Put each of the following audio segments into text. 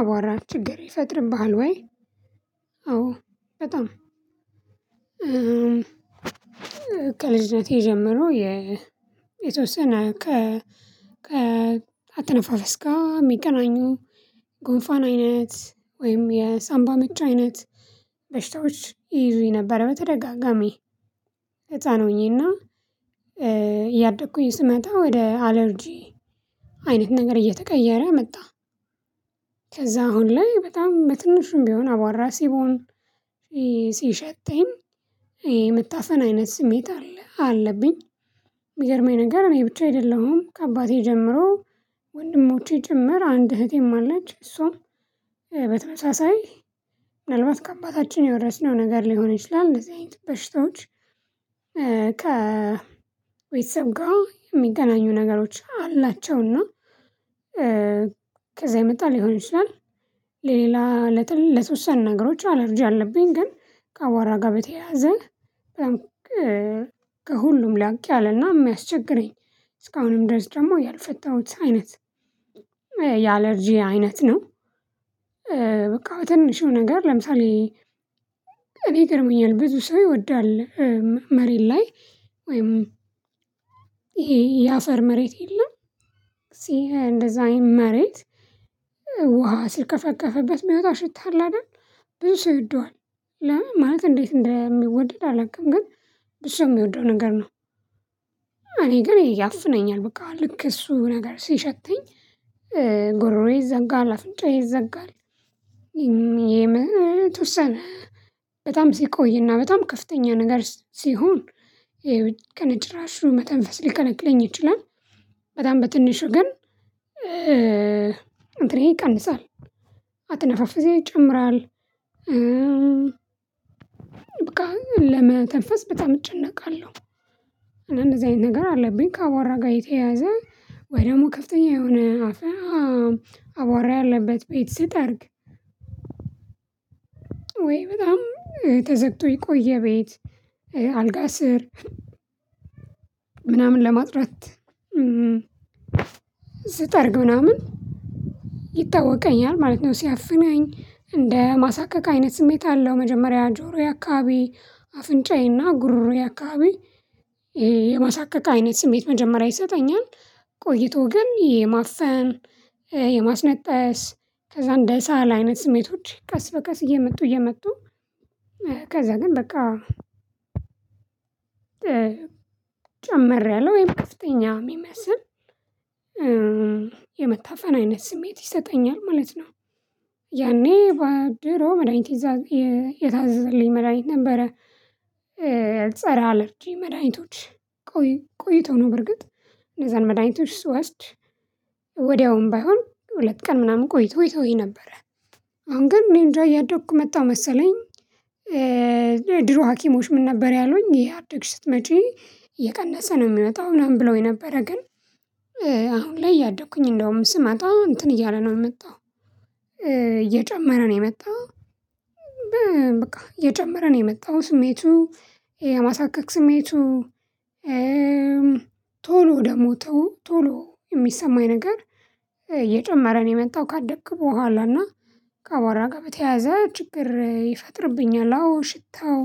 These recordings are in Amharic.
አቧራ ችግር ይፈጥርብሃል ወይ? አዎ በጣም። ከልጅነቴ ጀምሮ የተወሰነ ከ አተነፋፈስ ጋር የሚገናኙ ጎንፋን አይነት ወይም የሳንባ ምቻ አይነት በሽታዎች ይይዙኝ ነበር በተደጋጋሚ። ህፃን ሆኜና እያደኩኝ ስመጣ ወደ አለርጂ አይነት ነገር እየተቀየረ መጣ። ከዛ አሁን ላይ በጣም በትንሹም ቢሆን አቧራ ሲቦን ሲሸተኝ መታፈን አይነት ስሜት አለ አለብኝ። የሚገርመኝ ነገር ይሄ ብቻ አይደለሁም ከአባቴ ጀምሮ ወንድሞቼ ጭምር አንድ እህቴም አለች። እሷም በተመሳሳይ ምናልባት ከአባታችን የወረስነው ነገር ሊሆን ይችላል እንደዚህ አይነት በሽታዎች። ከቤተስብ ጋር የሚገናኙ ነገሮች አላቸውና ከዛ ይመጣል ሊሆን ይችላል። ሌላ ለትል ለተወሰነ ነገሮች አለርጂ አለብኝ። ግን ከአዋራ ጋር በተያያዘ ከሁሉም ላቅ ያለና የሚያስቸግረኝ እስካሁንም ድረስ ደግሞ ያልፈታሁት አይነት የአለርጂ አይነት ነው። በቃ በትንሹ ነገር ለምሳሌ እኔ ይገርመኛል ብዙ ሰው ይወዳል። መሬት ላይ ወይም ይሄ የአፈር መሬት የለም። እዚህ እንደዛ አይነት መሬት ውሃ ሲርከፈከፈበት የሚወጣ ሽታ አለ አይደል? ብዙ ሰው ይወደዋል። ለምን ማለት እንዴት እንደሚወደድ አላውቅም ግን እሱ የሚወደው ነገር ነው። እኔ ግን ያፍነኛል በቃ ልክ እሱ ነገር ሲሸተኝ ጎሮሮዬ ይዘጋል አፍንጫዬ ይዘጋል። የምትወሰነ በጣም ሲቆይና በጣም ከፍተኛ ነገር ሲሆን ከነጭራሹ መተንፈስ ሊከለከልኝ ይችላል። በጣም በትንሹ ግን አንተን ይቀንሳል አትነፋፍሴ ይጨምራል። በቃ ለመተንፈስ በጣም እጨነቃለሁ። እንደዚህ አይነት ነገር አለብኝ ከአቧራ ጋር የተያዘ ወይ ደግሞ ከፍተኛ የሆነ አፋም አቧራ ያለበት ቤት ስጠርግ። ወይ በጣም ተዘግቶ የቆየ ቤት። አልጋ ስር ምናምን ለማጽዳት ስጠርግ ምናምን ይታወቀኛል ማለት ነው። ሲያፍነኝ እንደ ማሳከከ አይነት ስሜት አለው መጀመሪያ ጆሮዬ አካባቢ አፍንጫዬና ጉሮሮዬ አካባቢ የማሳካካ አይነት ስሜት መጀመሪያ ይሰጠኛል። ቆይቶ ግን የማፈን የማስነጠስ ከዛ እንደሳለ አይነት ስሜቶች ቀስ በቀስ እየመጡ እየመጡ ከዛ ግን በቃ ጨመረ ያለ ወይም ከፍተኛ የሚመስል የመታፈን አይነት ስሜት ይሰጠኛል ማለት ነው። ድሮ መድሃኒት የታዘዘልኝ መድሃኒት ነበረ ፀረ አለርጂ መድኃኒቶች ቆይ ቆይቶ ነው። በርግጥ እነዛን መድኃኒቶች ስወስድ ባይሆን ሁለት ቀን ምናምን ቆይቶ ይተውኝ ነበር። አሁን ግን እኔንጃ እንዳያደኩ መጣሁ መሰለኝ። ድሮ ሀኪሞች ምን ነበር ያሉኝ እያደግሽ ስትመጪ። እየቀነሰ ነው የሚመጣው ምናምን ብለውኝ ነበረ ግን። አሁን ላይ እያደኩኝ እንደውም ስመጣ እንትን እያለ ነው የመጣው። እየጨመረ ነው የመጣው። በቃ የማሳከክ ስሜቱ ቶሎ ደግሞ ተው ቶሎ እየጨመረ ነው የመጣው ስሜቱ ስሜቱ ቶሎ ደግሞ ቶሎ የሚሰማኝ ነገር እየጨመረ ነው የመጣው። ካደኩ በኋላ እና ከቧራ ጋር በተያያዘ ችግር ይፈጥርብኛል። አዎ ሽታው።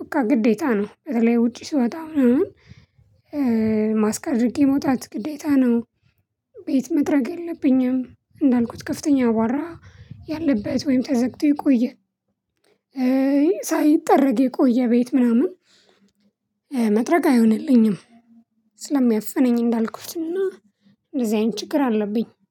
በቃ ግዴታ ነው በተለይ ውጪ ሲወጣ ምንም ምናምን ማስክ አድርጌ መውጣት ግዴታ ነው። ቤት መጠረግ የለብኝም እንዳልኩት ከፍተኛ አቧራ ያለበት ወይም ተዘግቶ የቆይ ሳይጠረግ የቆየ ቤት ምናምን መጥረግ አይሆንልኝም። ስለሚያፍነኝ እንዳልኩትና እንደዚህ አይነት ችግር አለብኝ